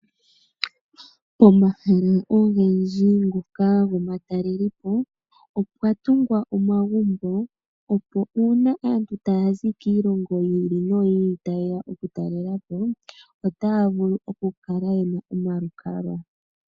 Omahala ogendji ngoka gomatalelepo opwa tungwa omagumbo opo una aantu taya zi kiilongo yiili noyili tayeya okutalela po otaya vulu okukala yena omalukalwa.